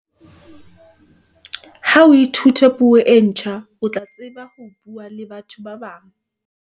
ha o ithuta puo e ntjha o tla tseba ho buaa le batho ba bangata